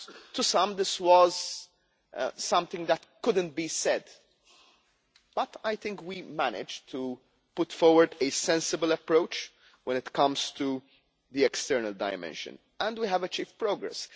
For some this was something that couldn't be said, but I think we managed to put forward a sensible approach when it comes to the external dimension, and we have achieved progress.